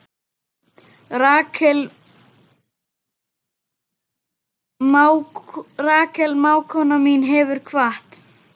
Rakel mágkona mín hefur kvatt.